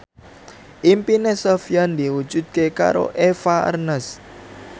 impine Sofyan diwujudke karo Eva Arnaz